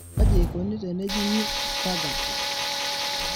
kaji eikoni tenejung'I Stargardt?